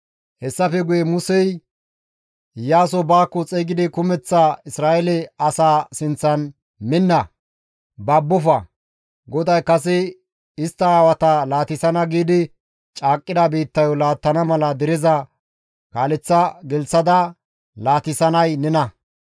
Hessafe guye Musey Iyaaso baakko xeygidi kumeththa Isra7eele asaa sinththan, «Minna; babbofa; GODAY kase istta aawata laatissana giidi caaqqida biittayo laattana mala dereza kaaleththa gelththada laatisanay nena.